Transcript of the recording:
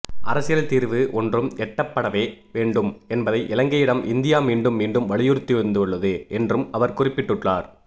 அரசியல் தீர்வு ஒன்றும் எட்டப்படவே வேண்டும் என்பதை இலங்கையிடம் இந்தியா மீண்டும் மீண்டும் வலியுறுத்திவந்துள்ளது என்றும் அவர் குறிப்பிட்டுள்ளார்